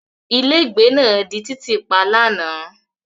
Ilégbèé náà di títì pa lánàá.